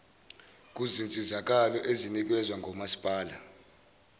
kuzinsizakalo ezinikezwa ngomasipalati